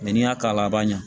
n'i y'a k'a la a ma ɲɛ